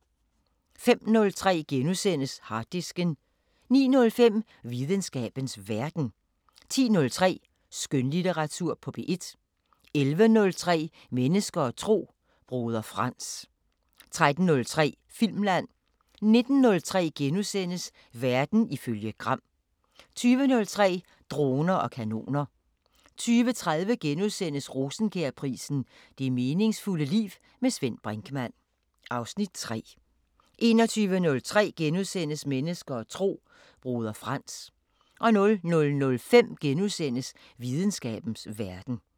05:03: Harddisken * 09:05: Videnskabens Verden 10:03: Skønlitteratur på P1 11:03: Mennesker og tro: Broder Frans 13:03: Filmland 19:03: Verden ifølge Gram * 20:03: Droner og kanoner 20:30: Rosenkjærprisen: Det meningsfulde liv. Med Svend Brinkmann (Afs. 3)* 21:03: Mennesker og tro: Broder Frans * 00:05: Videnskabens Verden *